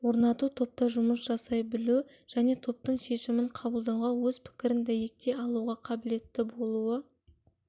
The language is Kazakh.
орнату топта жұмыс жасай білу және топтың шешімін қабылдауға өз пікірін дәйектей алуға қабілетті болуы